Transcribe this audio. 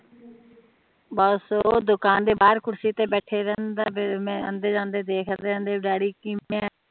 ਬਸ ਉਹ ਦੁਕਾਨ ਦੇ ਬਾਹਰ ਕੁਰਸੀ ਤੇ ਬੈਠਾ ਰਹਿੰਦਾ ਫੇਰ ਮੈਂ ਆਂਦੇ ਜਾਂਦੇ